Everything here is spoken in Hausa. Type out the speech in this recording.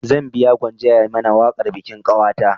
Zan biya gwanja ya mana waƙar bikin ƙanwata